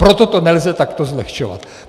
Proto to nelze takto zlehčovat.